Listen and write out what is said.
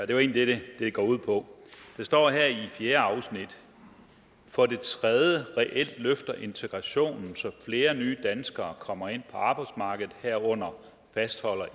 det er egentlig det det går ud på der står i fjerde afsnit for det tredje reelt løfter integrationen så flere nye danskere kommer ind på arbejdsmarkedet herunder fastholder